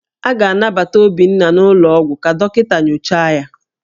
A ga-anabata Obinna n'ụlọọgwụ ka dọkịta nyochaa ya